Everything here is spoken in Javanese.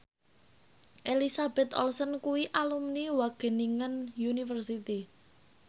Elizabeth Olsen kuwi alumni Wageningen University